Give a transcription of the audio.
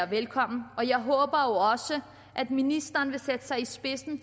velkommen og jeg håber jo også at ministeren vil sætte sig i spidsen